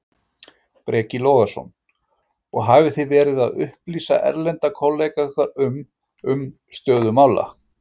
Breki Logason: Og hafið þið verið að upplýsa erlenda kollega ykkar um, um stöðu mála?